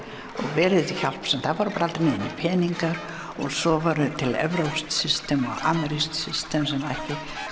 verið hjálpsamt það voru bara aldrei til neinir peningar og svo var til evrópskt system og amerískt system sem ekki